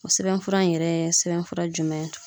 O sɛbɛnfura in yɛrɛ sɛbɛnfura jumɛn ye?